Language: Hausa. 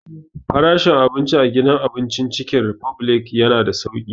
Frashin abinci a gidan abincin Cikin ripublic ya na da sauƙi